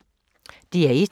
DR1